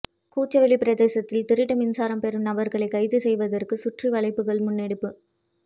குச்சவெளி பிரதேசத்தில் திருட்டு மின்சாரம் பெறும் நபர்களை கைது செய்வதற்க்கு சுற்றி வளைப்புக்கள் முன்னெடுப்பு